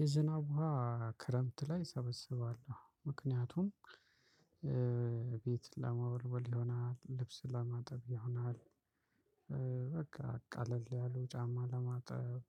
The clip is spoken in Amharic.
የዝናብ ውሃ ክረምት ላይ እሰበስባለሁ ምክንያቱም ቤት ለመወልወል ይሆናል ልብስ ለማጠብ ይሆናል በቃ ቀለል ያሉ ጫማ ለማጠብ።